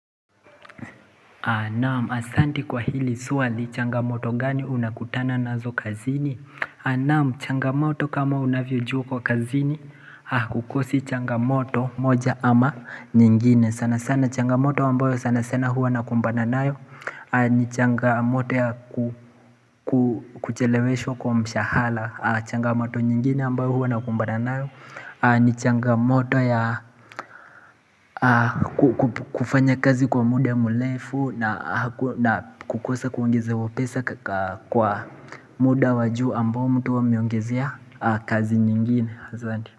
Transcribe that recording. Naam asanti kwa hili swali changamoto gani unakutana na zo kazini Naam changamoto kama unavyo jua kwa kazini hakukosi changamoto moja ama nyingine sana sana changamoto ambayo sana sana huwa nakumbana nayo ni changamoto ya kucheleweshwa kwa mshahara changamoto nyingine ambayo huwa na kumbana nayo Nichanga moto ya kufanya kazi kwa muda mrefu na kukosa kuongeze wapesa kwa muda wajuu ambao mtu ameongezea kazi nyingine.